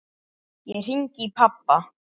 Ég hringi í pabba.